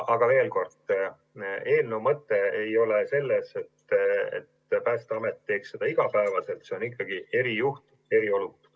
Aga veel kord: eelnõu mõte ei ole selles, et Päästeamet teeks seda iga päev, see on ikkagi erijuht, eriolukord.